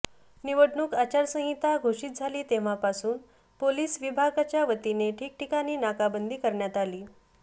निवडणूक आचारसंहिता घोषीत झाली तेव्हापासून पोलीस विभागाच्यावतीने ठिकठिकाणी नाकाबंदी करण्यात आली